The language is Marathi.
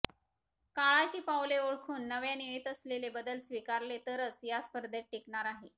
काळाची पावले ओळखून नव्याने येत असलेले बदल स्वीकारले तरच या स्पर्धेत टीकणार आहे